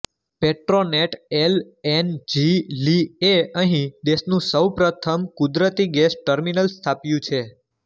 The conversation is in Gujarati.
પેટ્રોનેટ એલ એન જી લિ એ અહિં દેશનું સૌપ્રથમ કુદરતી ગેસ ટર્મિનલ સ્થાપ્યું છે